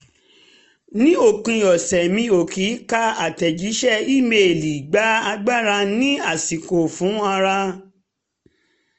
ní òpin ọ̀sẹ̀ mi ò kí ká àtẹ̀jíṣẹ́ ímeèlì gba agbára ní àsìkò fún ara